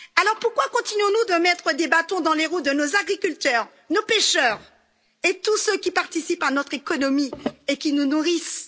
Alors, pourquoi continuons nous à mettre des bâtons dans les roues de nos agriculteurs, de nos pêcheurs et de tous ceux qui participent à notre économie et qui nous nourrissent?